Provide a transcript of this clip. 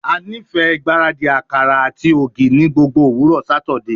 A nifẹ ngbaradi akara ati igi ni gbogbo owurọ Satidee